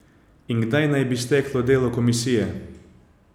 In kdaj naj bi steklo delo komisije?